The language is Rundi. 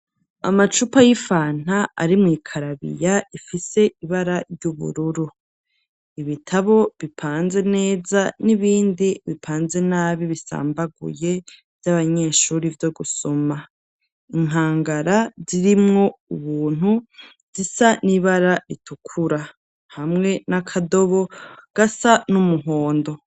Amacupa y'ifanta ari mwikarabiya ifise ibara ry'ubururu, ibitabo bipanze neza n'ibindi bipanze nabi bisambaguye vyabanyeshuri vyo gusoma, inkangara zirimwo ubuntu zisa n'ibara ritukura, hamwe nakadobo gasa n'umuhondo.